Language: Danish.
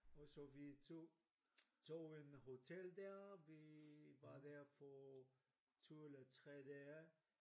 Og så vi tog tog en hotel deroppe vi var der for 2 eller 3 dage